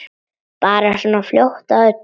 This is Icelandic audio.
Bara svona fljót að öllu.